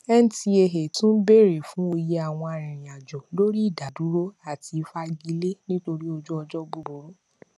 ncaa tún béèrè fún òye àwọn arìnrìnàjò lórí ìdádúró àti ìfagilé nítorí ojú ọjọ búburú